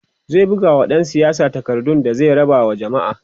zai bugawa ɗan siyasar takardu da zai raba wa jamma'a